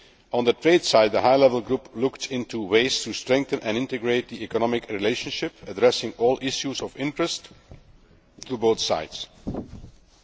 On the trade side, the high level group looked into ways of strengthening and integrating the economic relationship, addressing all issues of interest to both parties.